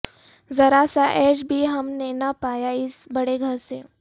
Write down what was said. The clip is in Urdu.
ذرا سا عیش بھی ہم نے نہ پایا اس بڑے گھر سے